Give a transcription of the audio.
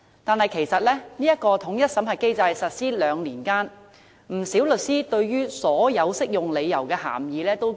但是，在這個統一審核機制實施兩年間，不少律師覺得所有適用理由的涵義十分模糊。